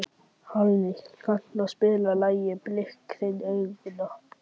Hallný, kanntu að spila lagið „Blik þinna augna“?